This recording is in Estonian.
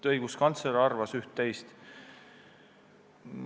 Õiguskantsler on selle kohta üht-teist arvanud.